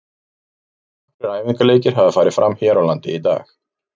Nokkrir æfingaleikir hafa farið fram hér á landi í dag.